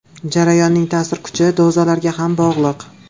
Jarayonning ta’sir kuchi dozalarga ham bog‘liq.